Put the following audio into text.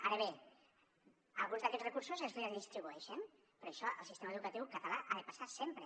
ara bé alguns d’aquests recursos es redistribueixen però això al sistema educatiu català ha de passar sempre